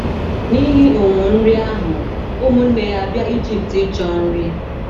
N’ihi ụnwụ nri ahụ, ụmụnne ya abịa Ijipt ịchọ nri.